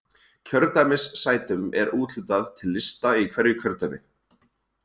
Kjördæmissætum er úthlutað til lista í hverju kjördæmi.